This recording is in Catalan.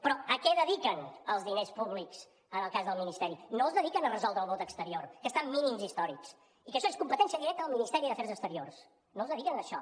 però a què dediquen els diners públics en el cas del ministeri no els dediquen a resoldre el vot exterior que està en mínims històrics i que això és competència directa del ministeri d’afers exteriors no els dediquen a això